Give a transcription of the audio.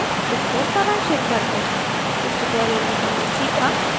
इसको सारांशित करते हैं इस tutorial में हमने सीखा